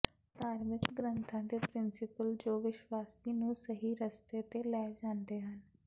ਧਾਰਮਿਕ ਗ੍ਰੰਥਾਂ ਦੇ ਪ੍ਰਿੰਸੀਪਲ ਜੋ ਵਿਸ਼ਵਾਸੀ ਨੂੰ ਸਹੀ ਰਸਤੇ ਤੇ ਲੈ ਜਾਂਦੇ ਹਨ